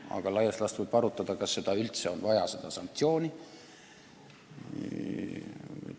Ent laias laastus võib arutada, kas seda sanktsiooni üldse vaja on.